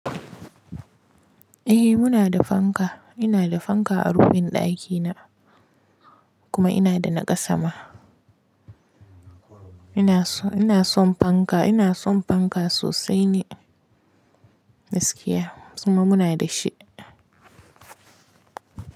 Eh muna da fanka, ina da fanka a rufin ɗakina kuma ina da na ƙasa ma. Ina son, ina son fanka, ina son fanka sosai ni, gaskiya, kuma muna da shi.